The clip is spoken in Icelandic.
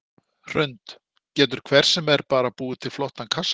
Hrund: Getur hver sem bara búið til flottan kassabíl?